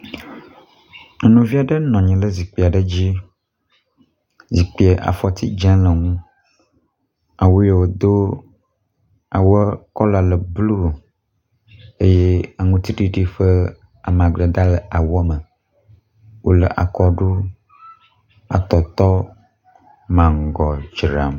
Nyɔnuvi ale nɔnyi le zikpi aɖe dzi, zikpia afɔti dzẽ le eŋu, awuyi wodo awuɔ kɔla le blu eye aŋutiɖiɖi ƒe amadede ale awuɔ me wole akɔɖu, atɔtɔ, mangɔ dzram.